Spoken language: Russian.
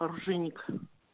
оружейник